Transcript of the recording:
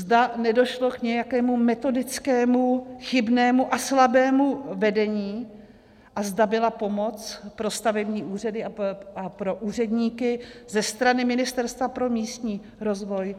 Zda nedošlo k nějakému metodicky chybnému a slabému vedení a zda byla pomoc pro stavební úřady a pro úředníky ze strany Ministerstva pro místní rozvoj